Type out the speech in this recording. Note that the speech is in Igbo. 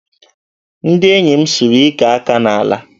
Ndị enyi m sụrụ ike aka n'ala